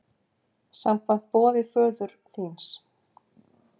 Samkvæmt boði föður þíns!